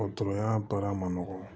Dɔgɔtɔrɔya baara ma nɔgɔ